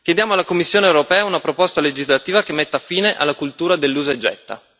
Chiediamo alla Commissione europea una proposta legislativa che metta fine alla cultura dell'usa e getta.